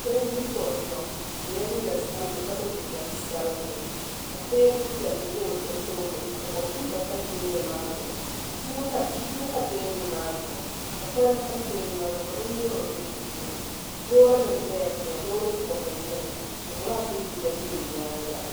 So n ʒi kuɣu zuɣu o yɛla liiga sabinli ka so jinjɛm sabinli ka teebuli piɛlli ʒɛ o tooni ka kompiuta ʒɛ teebuli maa zuɣu buku pa teebuli maa zuɣu ka kolba tam teebuli maa zuɣu ka bin nyurili bɛ di puuni loori nim bɛla tiŋa loori bobgu n nyɛli ka gilaas mini yiya bɛ o nyaanga